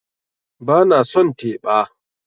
Ba na son teba